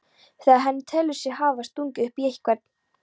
þegar hann telur sig hafa stungið upp í einhvern.